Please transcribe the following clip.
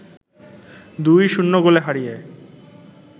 ২-০ গোলে হারিয়ে